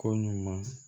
Ko ɲuman